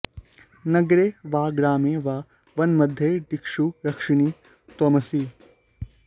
नगरे वा ग्रामे वा वनमध्ये दिक्षु रक्षिणी त्वमसि